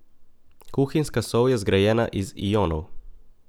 Kuhinjska sol je zgrajena iz ionov.